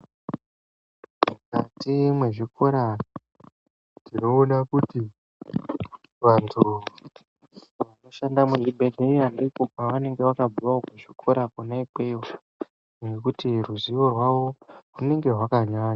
Mukati mezvikora tinoona kuti antu anoshanda kuzvibhehlera vanenge vakabve kuzvikora nekuti ruzivo rwavo rwunenge rwakanyanya.